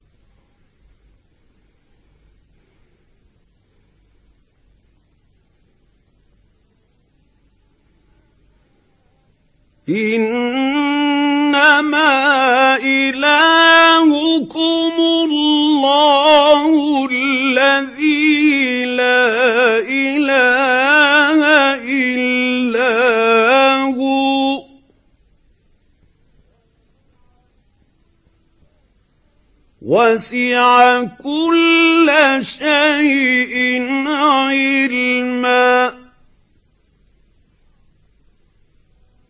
إِنَّمَا إِلَٰهُكُمُ اللَّهُ الَّذِي لَا إِلَٰهَ إِلَّا هُوَ ۚ وَسِعَ كُلَّ شَيْءٍ عِلْمًا